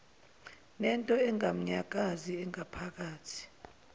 nento enganyakazi engaphakathi